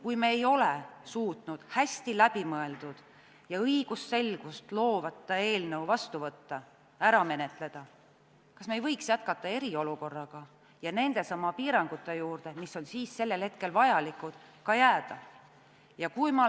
Kui me ei ole suutnud hästi läbimõeldud ja õigusselgust loovat eelnõu ära menetleda, kas me ei võiks jätkata eriolukorraga ja nendesamade piirangute juurde, mis on sellel hetkel vajalikud, ka jääda?